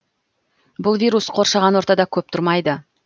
бұл вирус қоршаған ортада көп тұрмайды